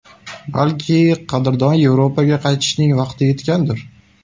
Balki, qadrdon Yevropaga qaytishning vaqti yetgandir!?